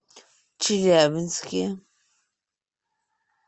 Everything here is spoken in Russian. челябинске